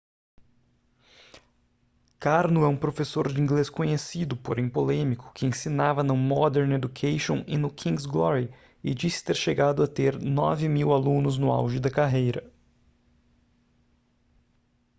karno é um professor de inglês conhecido porém polêmico que ensinava no modern education e no king's glory e disse ter chegado a ter 9 mil alunos no auge da carreira